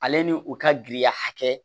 Ale ni u ka giriya hakɛ